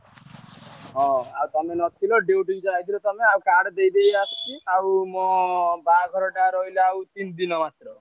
ହଁ ଆଉ ତମେ ନଥିଲ duty କୁ ଯାଇଥିଲ ତମେ ଆଉ card ଦେଇଦେଇ ଆସିଛି ଆଉ ମୋ ବାହାଘରଟା ରହିଲା ଆଉ ତିନି ଦିନ ମାତ୍ର।